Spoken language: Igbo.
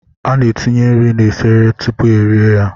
A na-etinye nri na-efere tupuu e rie ya.